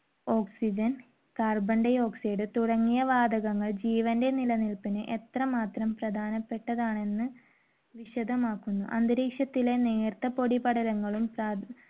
oxygen, carbon dioxide തുടങ്ങിയ വാതകങ്ങൾ ജീവന്റെ നിലനിൽപ്പിന് എത്രമാത്രം പ്രധാനപ്പെട്ടതാണെന്ന് വിശദമാക്കുന്നു. അന്തരീക്ഷത്തിലെ നേർത്ത പൊടിപടലങ്ങളും